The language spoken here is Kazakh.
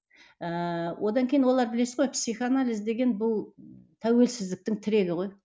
ыыы одан кейін олар білесіз ғой психоанализ деген бұл тәуелсіздіктің тірегі ғой